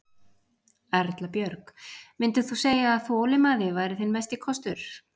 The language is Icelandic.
Erla Björg: Myndir þú segja að þolinmæði væri þinn mesti kostur?